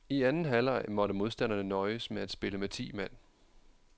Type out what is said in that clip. I anden halvleg måtte modstanderne nøjes med at spille med ti mand.